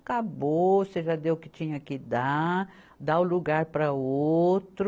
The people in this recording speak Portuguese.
Acabou, você já deu o que tinha que dar, dá o lugar para outro.